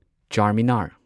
Charminar